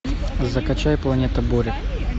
закачай планета бурь